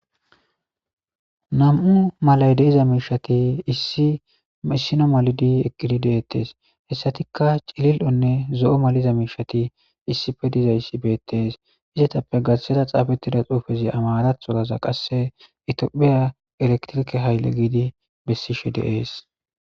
Nam''u malayi de'iza mishshati issino malid eqqi detees.hesattikka cilili'onne zoo maliza mishshati issippe dizayissa beettees.izetappe garissera xaafettida xuufezzi amaraththoraza qase Ethiopia riqiqe hayile gidi besishshe dees.